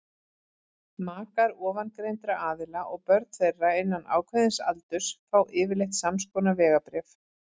makar ofangreindra aðila og börn þeirra innan ákveðins aldurs fá yfirleitt samskonar vegabréf